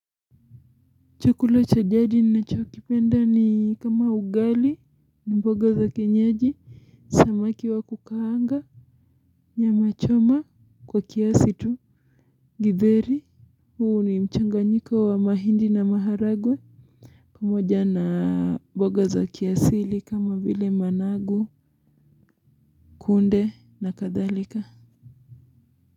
Chukula cha jadi nachokipenda ni kama ugali ni mboga za kienyeji samaki wa kukaanga nyama choma kwa kiasi tu githeri huwa ni mchanganyiko wa mahindi na maharagwe pamoja na mboga za kiasili kama vile managu kunde na kadhalika.